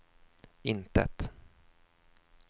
intet